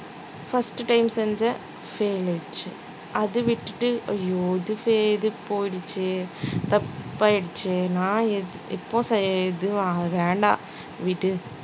first time செஞ்சேன் fail ஆயிருச்சு அதை விட்டுட்டு ஐயோ இது fa~ இது போயிடுச்சே தப்பாயிடுச்சு நான்